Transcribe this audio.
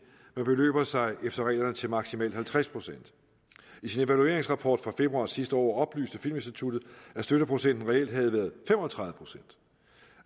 men beløber sig efter reglerne til maksimalt halvtreds procent i sin evalueringsrapport fra februar sidste år oplyste filminstitut at støtteprocenten reelt havde været fem og tredive